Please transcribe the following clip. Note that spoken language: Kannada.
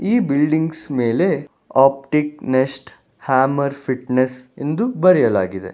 ಈ ಬಿಲ್ಡಿಂಗ್ಸ್ ಮೇಲೆ ಆಪ್ಟಿಕ್ ನೆಸ್ಟ್ ಹ್ಯಾಮರ್ ಫಿಟ್ನೆಸ್ ಎಂದು ಬರೆಯಲಾಗಿದೆ.